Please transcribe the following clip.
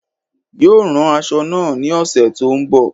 Yóò rán aṣọ náà ní ọ̀sẹ̀ tó n bò